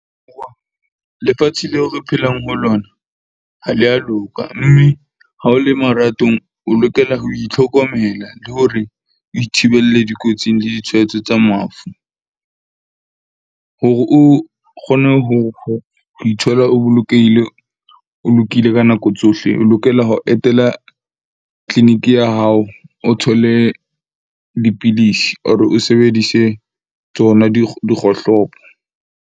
Lefatshe leo re phelang ho lona ha le a loka. Mme ha o le maratong, o lokela ho itlhokomela le hore o ithibelle dikotsing le ditshwaetso tsa mafu. Hore o kgone ho ithola, o bolokehile, o lokile ka nako tsohle o lokela ho etela clinic ya hao. O thole dipidisi, or o sebedise tsona dikgohlopo.